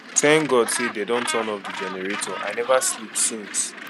thank god say dey don turn off the generator i never sleep since